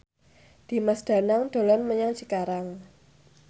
Dimas Danang dolan menyang Cikarang